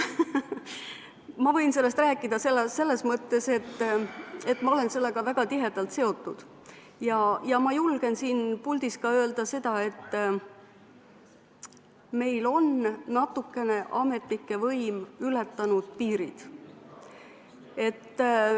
Ma võin sellest rääkida selles mõttes, et ma olen sellega väga tihedalt seotud ja ma julgen siin puldis ka öelda, et meil on ametnike võim natuke piirid ületanud.